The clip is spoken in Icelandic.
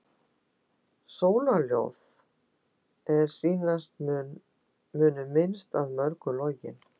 Sólarljóð, er sýnast munu minnst að mörgu login.